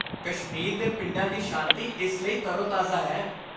ਕਸ਼ਮੀਰ ਦੇ ਪਿੰਡਾਂ ਦੀ ਸ਼ਾਂਤੀ ਇਸ ਲਈ ਤਰੋ ਤਾਜ਼ਾ ਹੈ